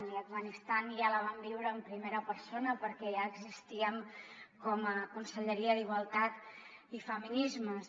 i a afganistan ja la vam viure en primera persona perquè ja existíem com a conselleria d’igualtat i feminismes